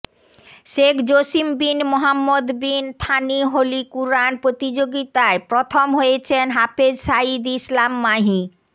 Sheikh Jassim bin Mohammed bin Thani holy Quran প্রতিযোগিতায় প্রথম হয়েছেন হাফেজ সাঈদ ইসলাম মাহি